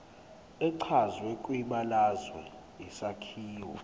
echazwe kwibalazwe isakhiwo